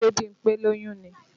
Ṣe Bímpé lóyún ni?